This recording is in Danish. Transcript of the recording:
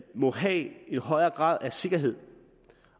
må have en højere grad af sikkerhed